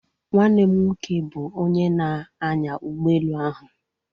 Nwanne m nwoke bụ onye na-anya ụgbọ elu ahụ.